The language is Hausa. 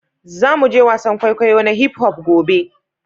Za mu je wasan kwaikwayo na hip-hop gobe